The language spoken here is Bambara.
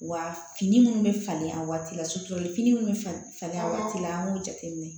Wa fini minnu bɛ falen a waati la suturalen minnu bɛ falen falen a waati la an k'o jateminɛ